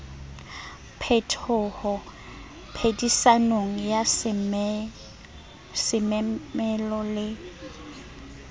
phetoho phedisanong ya semelo le